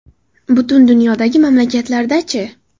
Butun dunyodagi mamlakatlarda-chi?